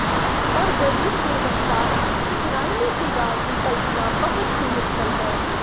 ਪਰ ਗਰੀਬ ਗੁਣਵੱਤਾ ਇਸਰਾਈਲੀ ਸ਼ਿੰਗਾਰ ਦੀ ਕਲਪਨਾ ਬਹੁਤ ਹੀ ਮੁਸ਼ਕਲ ਹੈ